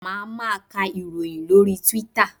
Máa ma ka ìròyìn lórí Twitter.